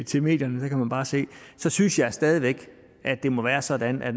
til medierne der kan man bare se så synes jeg stadig væk det må være sådan at